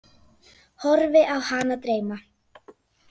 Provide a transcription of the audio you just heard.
Horfi á hana dreyma.